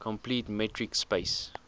complete metric space